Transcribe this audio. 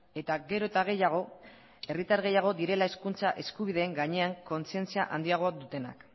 eta gero eta gehiago herritar gehiago direla hezkuntza eskubideen gainean kontzientzia handiagoa dutenak